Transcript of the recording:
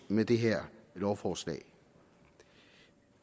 med det her lovforslag